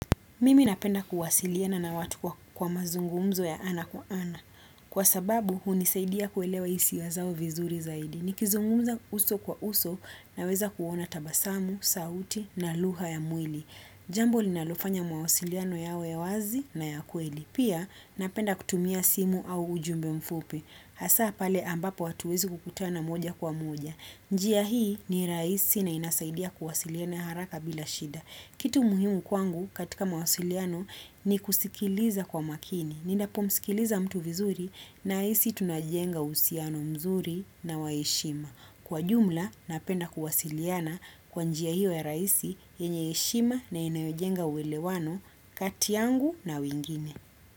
Mimi napenda kuwasiliana na watu kwa mazungumzo ya ana kwa ana. Kwa sababu, hunisaidia kuelewa hisia zao vizuri zaidi. Nikizungumza uso kwa uso naweza kuona tabasamu, sauti na lugha ya mwili. Jambo linalofanya mawasiliano yawe ya wazi na ya kweli. Pia, napenda kutumia simu au ujumbe mfupi. Hasaa pale ambapo hatuwezi kukutana moja kwa moja. Njia hii ni rahisi na inasaidia kuwasiliana haraka bila shida. Kitu muhimu kwangu katika mawasiliano ni kusikiliza kwa makini. Ninapomsikiliza mtu vizuri nahisi tunajenga uhusiano mzuri na wa heshima. Kwa jumla napenda kuwasiliana kwa njia hiyo ya rahisi yenye heshima na inayojenga uwelewano kati yangu na wengine.